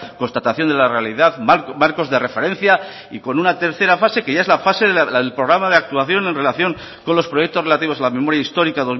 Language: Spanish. constatación de la realidad marcos de referencia y con una tercera fase que ya es la fase del programa de actuación en relación con los proyectos relativos a la memoria histórica